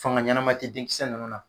Fanga ɲanama te den kisɛ ninnu na.